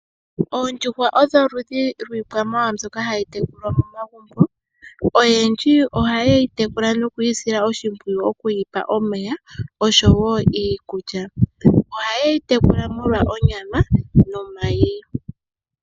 Oondjuhwa odho oludhi lwiikwamawa mbyoka hayi tekulwa momagumbo. Oyendji ohaye yi tekula nokuyi sila oshimpwiyu okuyi pa omeya oshowo iikulya .Ohayeyi tekula molwa onyama nomayi.